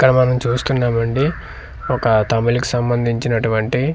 ఇక్కడ మనం చూస్తున్నాం అండి ఒక తమిళ్ కీ సంబండించినటువంటి.